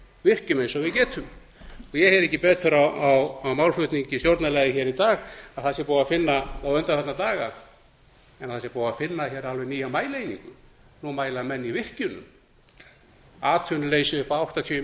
virkjum eins og við getum ég heyrði ekki betur á málflutningi stjórnarliða í dag og undanfarna daga að búið sé að finna alveg nýja mælieiningu nú mæla menn í virkjunum atvinnuleysi upp á áttatíu